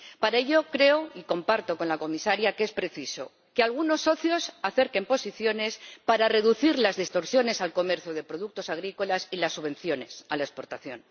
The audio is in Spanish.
Para ello, creo y comparto con la Comisaria que es preciso que algunos socios acerquen posiciones para reducir las distorsiones en el comercio de productos agrícolas y las subvenciones a la exportación